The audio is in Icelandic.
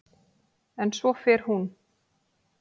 En svo fer hún.